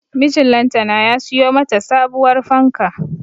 Mijin lantana ya siyo mata sabuwar fanka